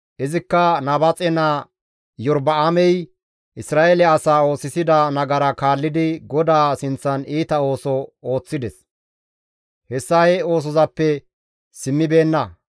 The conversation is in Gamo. Izikka Nabaaxe naa Iyorba7aamey Isra7eele asaa oosisida nagara kaallidi GODAA sinththan iita ooso ooththides; hessa he oosozappe simmibeenna.